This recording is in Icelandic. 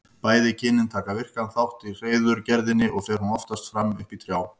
Bæði kynin taka virkan þátt í hreiðurgerðinni og fer hún oftast fram uppi í trjám.